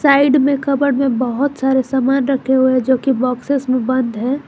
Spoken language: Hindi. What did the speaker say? साइड में कबर्ड में बहुत सारे सामान रखे हुए जो की बॉक्सेस में बंद है।